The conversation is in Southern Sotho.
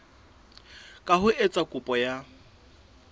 ka ho etsa kopo ya